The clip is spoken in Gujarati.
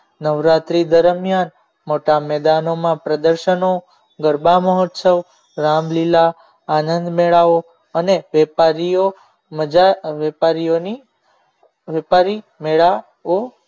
નવરાત્રી દરમિયાન મોટા મેદાનોમાં પ્રદર્શનો ગરબા મહોત્સવ રામલીલા આનંદ મેળો અને વેપારીઓ મજા વેપારીઓની વેપારી મેળાઓ